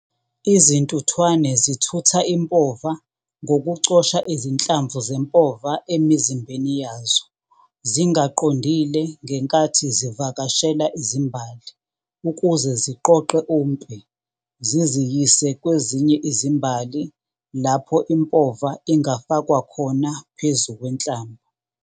Izintuthwane zithutha impova ngokucosha izinhlamvu zempova emizimbeni yazo, zingaqondile ngenkathi zivakashela izimbali ukuze ziqoqe umpe ziziyise kwezinye izimbali lapho impova ingafakwa khona .